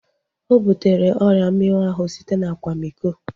Ọ butere ọrịa mminwụ ahu site na akwamiko